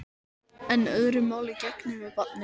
En öðru máli gegnir með barnið.